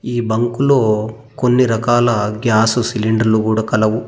ఈ బంకులో కొన్ని రకాల గ్యాసు సిలిండర్లు కూడా కలవు.